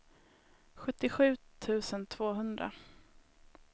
sjuttiosju tusen tvåhundra